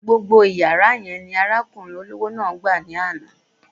Gbogbo yàrá yẹn ni arákùnrin olówó yẹn gbà lánàá.